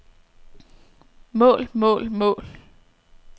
mål mål mål